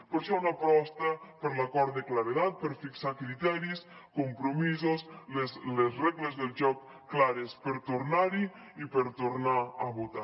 per això una aposta per l’acord de claredat per fixar criteris compromisos les regles del joc clares per tornar hi i per tornar a votar